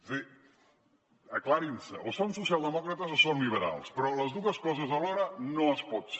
és a dir aclareixin se o són socialdemòcrates o són liberals però les dues coses alhora no es pot ser